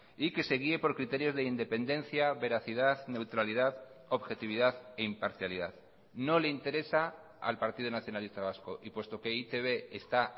y que se guie por criterios de independencia veracidad neutralidad objetividad e imparcialidad no le interesa al partido nacionalista vasco y puesto que e i te be está